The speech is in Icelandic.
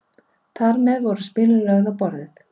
Þar með voru spilin lögð á borðið.